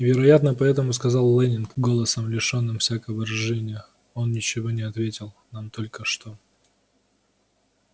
и вероятно поэтому сказал лэннинг голосом лишённым всякого выражения он ничего не ответил нам только что